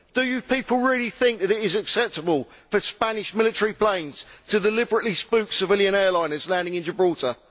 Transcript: Do you people really think that it is sensible for Spanish military planes to deliberately spook civilian airliners landing in Gibraltar?